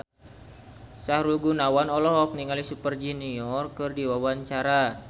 Sahrul Gunawan olohok ningali Super Junior keur diwawancara